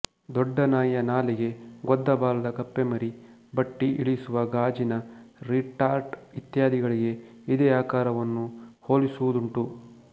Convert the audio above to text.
ದೊಡ್ಡನಾಯಿಯ ನಾಲಿಗೆ ಗೊದ್ದ ಬಾಲದ ಕಪ್ಪೆಮರಿ ಬಟ್ಟಿ ಇಳಿಸುವ ಗಾಜಿನ ರಿಟಾರ್ಟ್ ಇತ್ಯಾದಿಗಳಿಗೆ ಇದೆ ಆಕಾರವನ್ನು ಹೋಲಿಸುವುದುಂಟು